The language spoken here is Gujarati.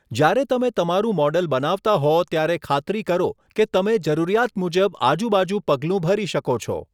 જ્યારે તમે તમારું મૉડલ બનાવતા હો, ત્યારે ખાતરી કરો કે તમે જરૂરિયાત મુજબ આજુબાજુ પગલું ભરી શકો છો.